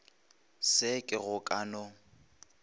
se ke go ka no